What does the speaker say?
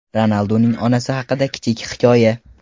Ronalduning onasi haqida kichik hikoya.